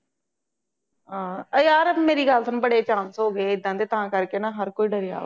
ਹਾਂ ਉਏ ਯਾਰ ਮੇਰੀ ਗੱਲ ਸੁਣ ਬਵੇ chance ਹੋ ਗਏ ਏਦਾਂ ਦੇ ਤਾਂ ਕਰਕੇ ਨਾ ਹਰ ਕੋਈ ਡਰਿਆ ਵਾ